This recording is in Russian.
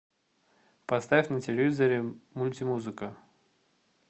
поставь на телевизоре мульти музыка